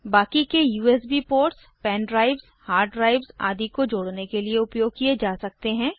बाकी के USB ports pen drives hard drives आदि को जोड़ने के लिए उपयोग किये जा सकते हैं